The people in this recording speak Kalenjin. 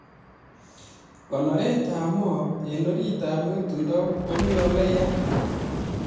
Konoretab Mo en oritab Ng'etundo komi ole ya?